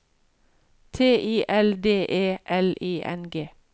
T I L D E L I N G